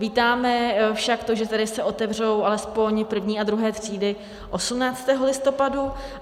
Vítáme však to, že tedy se otevřou alespoň první a druhé třídy 18. listopadu.